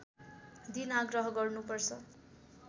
दिन आग्रह गर्नु पर्छ